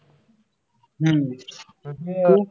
हम्म तू?